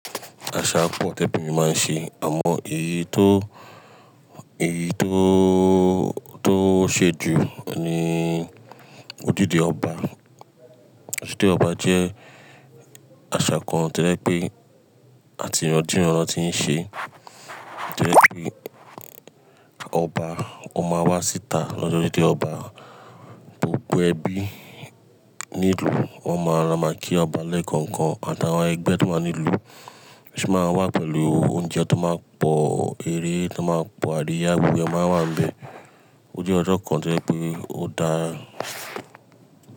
Àṣà kan obìnrin máa ń ṣe àmọ èyí tó, èyí tó, tó ṣe jù ni ojúde ọba. Ojúde ọba jẹ́ àṣà kan tí yẹ pé àti ìran dé ìran lo ti ń ṣe. Tí ẹ pé ọba ó máa wá síta lọ́jọ́ ojúde ọba, gbogbo ẹbí ní ìlú wọn máa lọ máa kí ọba lẹ́ẹ̀kọ̀ọ̀kan àtàwọn ẹgbẹ́ tó máa ń nílùú sì máa wá pẹ̀lú oúnjẹ tó máa ń pọ̀, eré tó máa ń pọ̀, adìẹ abúlé máa wà níbẹ̀. Ojoojú ọjọ́ kan tí ẹ pé ó dá.